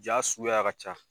Jaa suguya ka ca.